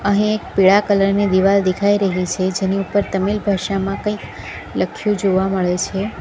અહીં એક પીળા કલર ની દિવાલ દેખાઈ રહી છે જેની ઉપર તમિલ ભાષામાં કંઈક લખ્યું જોવા મળે છે.